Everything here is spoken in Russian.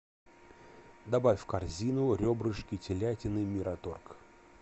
добавь в корзину ребрышки телятины мираторг